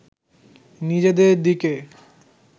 নিজেদের দিকে